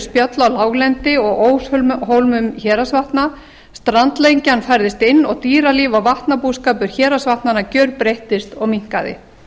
spjöll á láglendi og óshólmum héraðsvatna strandlengjan færðist inn og dýralíf og vatnabúskapur héraðasvatnnna gjörbreyttist og minnkaði